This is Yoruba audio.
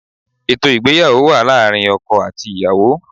Ètò ìgbéyàwó wà láàrin ọkọ àti ìyàwó